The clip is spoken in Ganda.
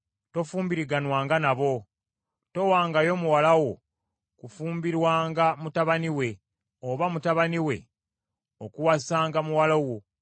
Tofumbiriganwanga nabo. Towangayo muwala wo kufumbirwanga mutabani we, oba mutabani we okuwasanga muwala wo.